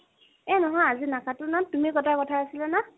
এ নহয়, আজি নাকাটো ন। তুমি কটা কথা আছিলে ন!